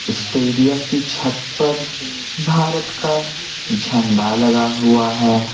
Stadium की छत पर भारत का झंडा लगा हुआ है।